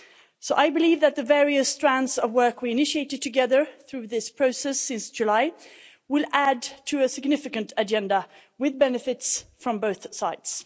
So I believe that the various strands of work we have initiated together through this process since July will add to a significant agenda with benefits from both sides.